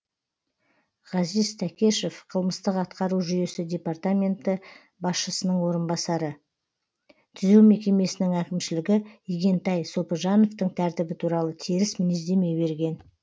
ғазиз тәкешев қылмыстық атқару жүйесі департаменті басшысының орынбасары түзеу мекемесінің әкімшілігі игентай сопыжановтың тәртібі туралы теріс мінездеме берген